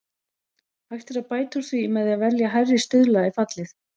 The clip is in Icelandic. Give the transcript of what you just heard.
Hægt er að bæta úr því með því að velja hærri stuðla í fallið.